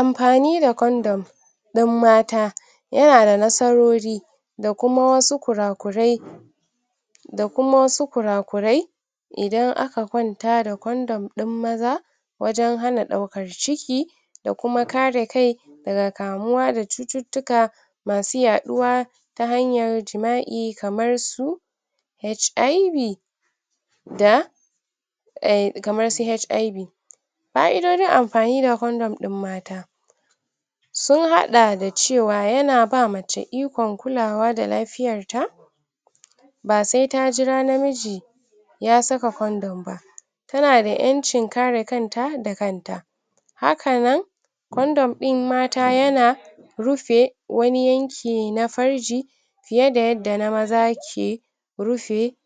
Amfani da condom ɗin mata yana da nasarori da kuma su kurakurai da kuma wasu kurakurai idan aka kwanta da condom ɗin maza wajan hana ɗaukar ciki da kuma kare kai daga kamuwa da cuttutuka masu yaɗuwa ta hanyar jima'i kamar su HIV da uhm kamar su HIV fa'idojin amfani da condom ɗin mata sun haɗa da cewa yana ba mace ikon kulawa da lafiyar ta ba sai ta jira na miji ya saka condom ba tana da ƴancin kare kanta da kanta haka nan condom ɗin mata yana rufe wani yanci na farji fiye da yadda na maza ke rufe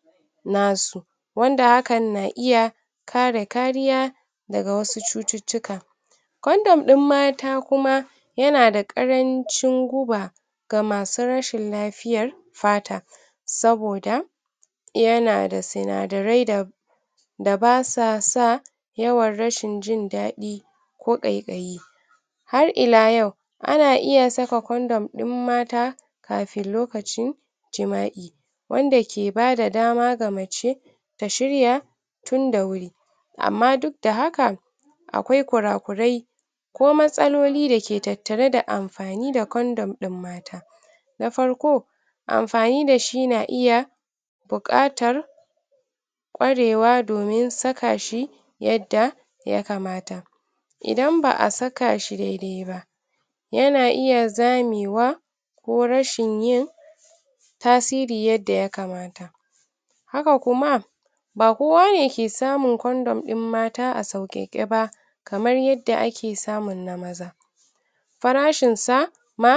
nasu wand hakan na iya kare kariya daga wasu cuttutuka condom ɗin mata kuma yana da ƙarancin guba ga masu rashin lafiyar fata saboda yana da sinadarai da basuwa sa yawan rashi jindadi ko ƙaikayi har ila yau ana iya saka condom din mata kafin lokacin jima'i wanda ke bada dama ga mace ta shirya tunda wuri amma duk da hakan akwai kurakurai ko matsaloli dake tattare da amfani da condom din mata na farko amfani da shi na iya buƙatar ƙwarewa domin saka shi yadda ya kamata idan ba'a saka shi daidai ba yana iya zame wa ko rashin yin tasiri yadda ya kamata haka kuma ba kowa ne ke samun condom din mata a sauƙake ba kamar yadda ake samun na maza farashinsa na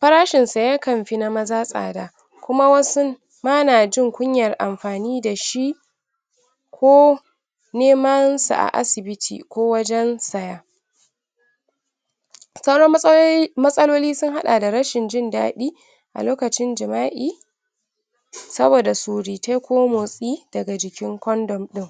farashinsa yakan fi na maza tsada kuma wasu ma na jin kunyar amfani da shi koh neman su a asibiti ko wajan siya sauran matsaloli matsaloli sun hadda da rashin jindadi a lokacin jima'i saboda surutai ko motsi daga jikin condom ɗin